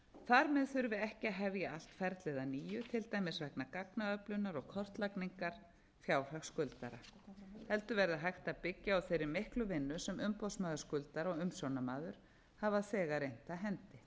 með þurfi ekki að hefja allt ferlið að nýju til dæmis vegna gagnaöflunar og kortlagningar fjárhags skuldara heldur verði hægt að byggja á þeirri miklu vinnu sem umboðsmaður skuldara og umsjónarmaður hafa þegar innt af hendi